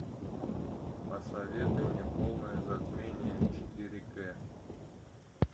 посоветуй мне полное затмение четыре ка